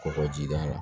Kɔkɔjida la